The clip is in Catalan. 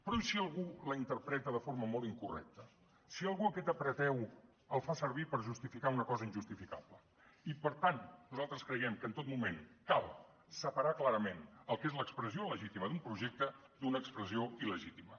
però i si algú la interpreta de forma molt incorrecta si algú aquest apreteu el fa servir per justificar una cosa injustificable i per tant nosaltres creiem que en tot moment cal separar clarament el que és l’expressió legítima d’un projecte d’una expressió illegítima